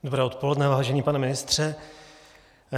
Dobré odpoledne, vážený pane ministře.